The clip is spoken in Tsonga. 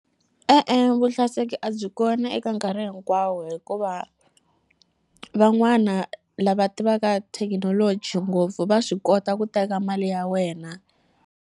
E-e, vuhlayiseki a byi kona eka nkarhi hinkwawo hikuva van'wana lava tivaka thekinoloji ngopfu va swi kota ku teka mali ya wena.